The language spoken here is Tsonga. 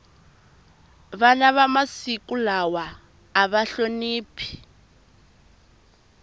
vana va masiku lawa ava hloniphi